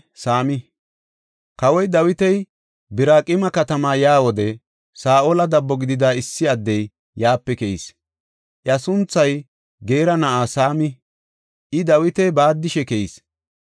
Kawoy Dawiti Biraqima katama yaa wode Saa7ola dabbo gidida issi addey yaape keyis. Iya sunthay Geera na7aa Saami. I Dawita baaddishe keyis.